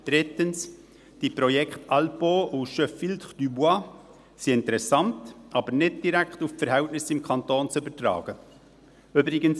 Drittens: Die Projekte «Alpeau» und «Je filtre, tu bois» sind interessant, aber nicht direkt auf die Verhältnisse im Kanton zu übertragen. «